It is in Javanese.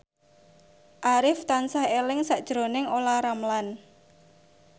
Arif tansah eling sakjroning Olla Ramlan